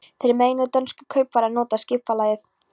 Þeir meinuðu dönsku kaupfari að nota skipalægið.